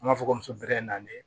An b'a fɔ ko muso bɛ na le